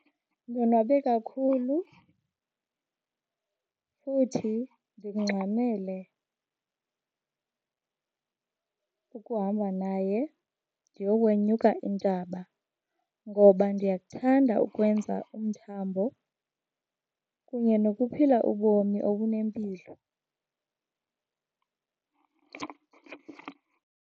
Ndonwabe kakhulu futhi ndikungxamele ukuhamba naye ndiyokwenyuka intaba ngoba ndiyakuthanda ukwenza umthambo kunye nokuphila ubomi obunempilo.